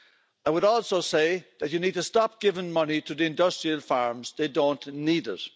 I would also say that you need to stop giving money to the industrial farms they don't need it.